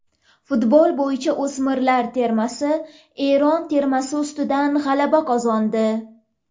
Futbol bo‘yicha o‘smirlar termasi Eron termasi ustidan g‘alaba qozondi.